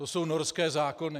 To jsou norské zákony.